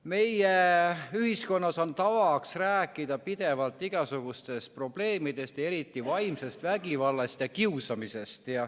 Meie ühiskonnas on tavaks pidevalt rääkida igasugustest probleemidest, eriti vaimsest vägivallast ja kiusamisest.